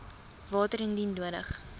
water indien nodig